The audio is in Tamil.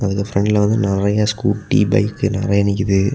அதுக்கு ஃப்ரண்ட்ல வந்து நெறய ஸ்கூட்டி பைக் நெறயா நிக்குது.